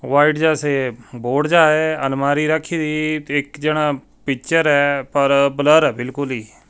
white ਜੈਸੇ board ਜਿਹਾ ਹੈ ਅਲਮਾਰੀ ਰੱਖ ਰਹੀ ਤੇ ਇੱਕ ਜਨਾ ਪਿੱਚਰ ਆ ਪਰ ਬਲਰ ਆ ਬਿਲਕੁਲ--